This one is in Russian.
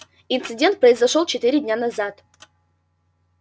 инцидент произошёл четыре дня назад